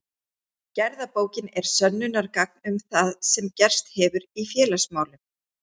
Gerðabókin er sönnunargagn um það sem gerst hefur í félagsmálum.